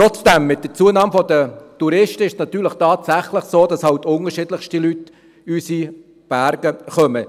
Trotzdem: Mit der Zunahme der Anzahl Touristen ist es tatsächlich so, dass unterschiedlichste Leute in unsere Berge kommen.